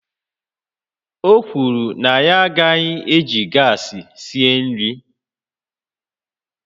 O kwuru na ya agaghị eji gas esi nri